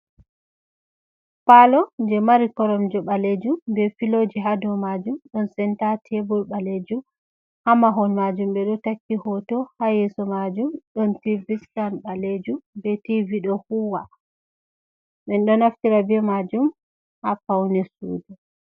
Pallo je mari koromje balejum be filoji haa do majum ɗon senta tebur ɓalejum, haa mahol majum ɓe ɗo takki hoto, haa yeso majum ɗon tivi sitan balejum ɓe tivi ɗo huwa. Men ɗo naftira be majum haa paune sudu.